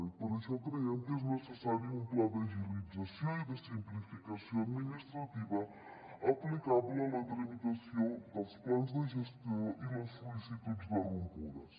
i per això creiem que és necessari un pla d’agilització i de simplificació administrativa aplicable a la tramitació dels plans de gestió i les sol·licituds de rompudes